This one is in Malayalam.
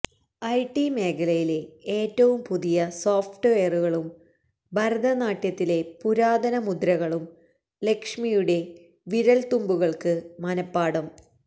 ഐടി മേഖലയിലെ ഏറ്റവും പുതിയ സോഫ്റ്റ് വെയറുകളും ഭരതനാട്യത്തിലെ പുരാതന മുദ്രകളും ലക്ഷ്മിയുടെ വിരല്തുമ്പുകള്ക്ക് മനപ്പാഠം